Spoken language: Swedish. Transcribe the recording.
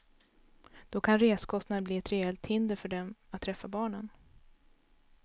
Då kan reskostnaderna bli ett reellt hinder för dem att träffa barnen.